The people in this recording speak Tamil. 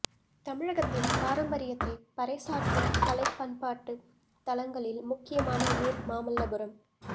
தமிழகத்தின் பாரம்பரியத்தை பறைசாற்றும் கலைப் பண்பாட்டு தளங்களில் முக்கியமான ஊர் மாமல்லபுரம்